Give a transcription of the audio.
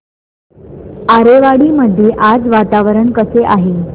आरेवाडी मध्ये आज वातावरण कसे आहे